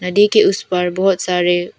नदी के उस पार बहोत सारे--